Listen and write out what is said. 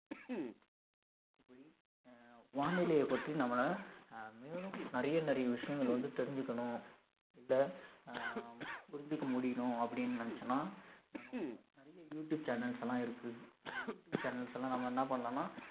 இப்படி அஹ் வானிலைய பற்றி நம்மள அஹ் மேலும் நிறைய நிறைய விஷயங்கள் வந்து தெரிஞ்சுக்கணும் இத அஹ் புரிஞ்சுக்க முடியணும் அப்படின்னு நினைச்சோம்ன்னா நமக்கு நாம நிறைய யூ டியூப் channels லாம் இருக்கு அந்த யூ டியூப் channels ல நம்ம என்ன பண்ணலாம்னா